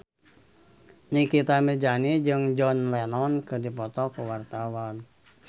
Nikita Mirzani jeung John Lennon keur dipoto ku wartawan